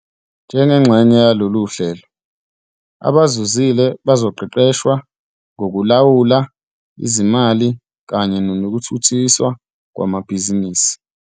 Njengengxenye yalolu hlelo, abazuzile bazoqeqeshwa ngokulawula izimali kanye nokuthuthukiswa kwamabhizinisi.